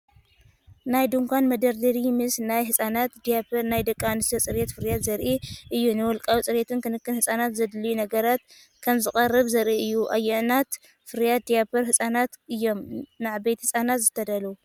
ናይ ድኳን መደርደሪ ምስ ናይ ህጻናት ዳያፐርን ናይ ደቂ ኣንስትዮ ጽሬት ፍርያትን ዘርኢ እዩ።.ንውልቃዊ ጽሬትን ክንክን ህጻናትን ዘድልዩ ነገራት ከምዘቕርብ ዘርኢ እዩ።.ኣየኖት ፍርያት ዳያፐር ህጻናት እዮም ንዓበይቲ ህጻናት ዝተዳለዉ?